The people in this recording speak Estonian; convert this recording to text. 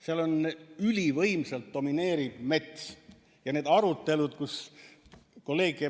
Seal ülivõimsalt domineerib mets ja need arutelud, kus ...